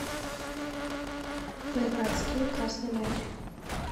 поиграть в скил красный мяч